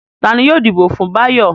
Ta ni yóò dìbò fún Báyọ̀?